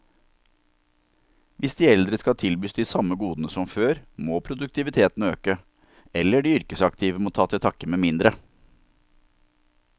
Hvis de eldre skal tilbys de samme godene som før, må produktiviteten øke, eller de yrkesaktive må ta til takke med mindre.